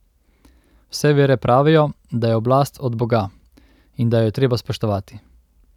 Vse vere pravijo, da je oblast od Boga in da jo je treba spoštovati.